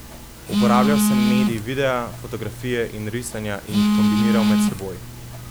Uporabljal sem medij videa, fotografije in risanja in jih kombiniral med seboj.